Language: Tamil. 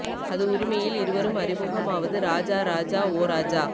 அது உரிமையில் இருவரும் அறிமுகம் ஆவது ராஜா ராஜா ஓ ராஜா